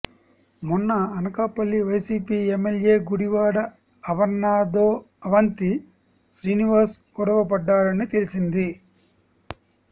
మొన్న అనకాపల్లి వైసీపీ ఎమ్మెల్యే గుడివాడ అమర్నాథ్తో అవంతి శ్రీనివాస్ గొడవపడ్డారని తెలిసింది